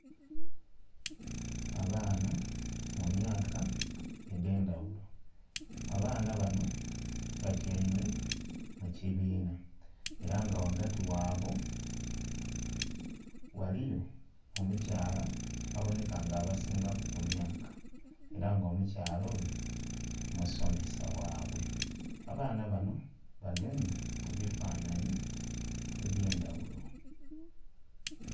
Abaana mu myaka edh'endhaghulo. Abaana bano batyaime mu kibiina, era nga ghagati ghabwe ghaliyo omukyala abonheka nga abasingaku emyaka, era nga omukyala oyo, musomesa ghabwe. Abaana banho bagemye ebifanhanhi eby'endaghulo.